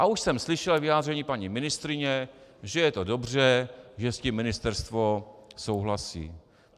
A už jsem slyšel vyjádření paní ministryně, že je to dobře, že s tím ministerstvo souhlasí.